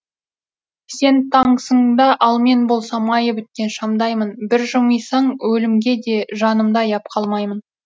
сен таңсың да ал мен болса майы біткен шамдаймын бір жымисаң өлімге де жанымды аяп қалмаймын